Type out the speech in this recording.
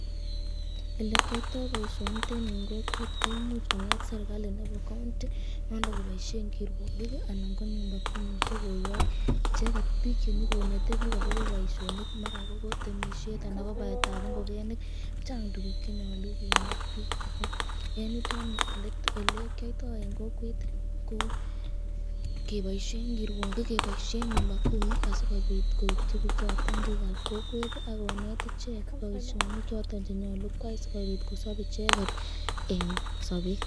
Elee kiyoito boishonitet nii en kokwet koimuch kong'et serikali nebo county [c s] nondon koboishen kirwokik anan ko nyumba kumi koyok icheket biik chenyokonete biik akobo boishonik maran kobo temishet anan kobaetab ing'okenik, chang tukuk chenyolu kineet biik ak ko en yutet nii elekiyoito en kokwet ko keboishen kirwokik, keboishen nyumba kumi asikobit koityi bichoton biikab kokwet ak koneet icheek boishonik choton chenyolu koyai sikobit kosob icheket en sobeet.